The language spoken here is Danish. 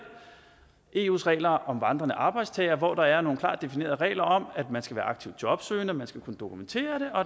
eus regler om vandrende arbejdstagere hvor der er nogle klart definerede regler om at man skal være aktivt jobsøgende og at man skal kunne dokumentere